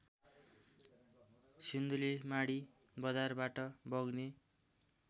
सिन्धुलीमाढी बजारबाट बग्ने